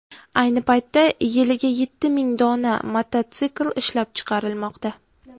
Ayni paytda yiliga yetti ming dona mototsikl ishlab chiqarilmoqda.